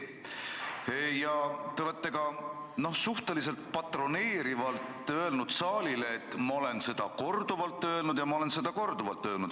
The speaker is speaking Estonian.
Ja te olete ka suhteliselt patroneerivalt öelnud saalile, et "ma olen seda korduvalt öelnud" ja "ma olen seda korduvalt öelnud".